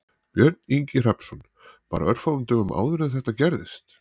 Björn Ingi Hrafnsson: Bara örfáum dögum áður en þetta gerðist?